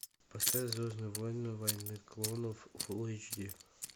поставь звездные войны войны клонов фул эйч ди